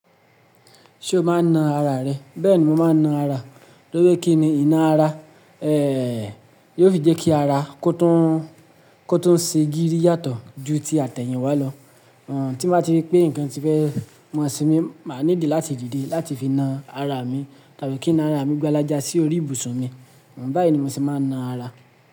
Ṣé o máa ń na ara rẹ? Bẹ́ẹ̀ni, mo máa ń na ara. Lóje kí ni ìná ara? Eeh, yóò fi jẹ́ kí ara kó tún, kó tún ṣe gírí yàtọ̀ ju ti àtẹ̀yìn wá lọ. Tí mo bá rí pé nǹkan ti fẹ́ ma se mi, màá needí láti díde láti fi na ara mi tàbí kín ná ara mi gbálẹjá sí orí ibùsùn mi. Báyìí ni mo ṣe máa ń na ara.